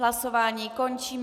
Hlasování končím.